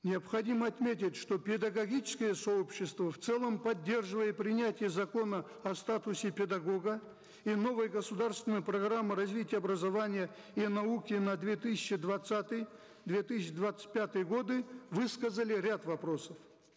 необходимо отметить что педагогическое сообщество в целом поддерживая принятие закона о статусе педагога и новые государственные программы развития образования и науки на две тысячи двадцатый две тысячи двадцать пятые годы высказали ряд вопросов